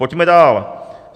Pojďme dál.